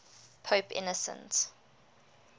pope innocent